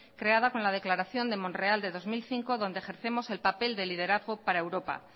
creada con la declaración de monreal de dos mil cinco donde ejercemos el papel de liderazgo para europa